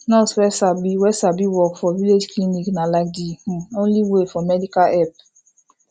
nurse wey sabi wey sabi work for village clinic na like de um only way for medical help